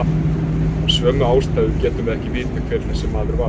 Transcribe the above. Af sömu ástæðu getum við ekki vitað hver þessi maður var.